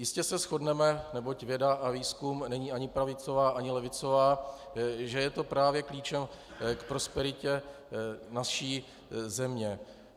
Jistě se shodneme, neboť věda a výzkum není ani pravicová, ani levicová, že je to právě klíčem k prosperitě naší země.